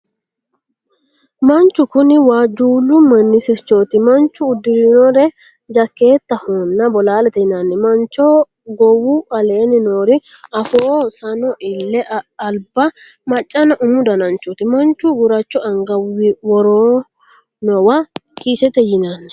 Manchu kuni waajjuullu manni sirchooti. Manchu uddirinore jakeetahonna bolaalete yinanni. manchoho gowu aleenni noori afoo, sano, ille, alba, maccanna umu dananchooti. machu guracho anga worinowa kiisete yinanni.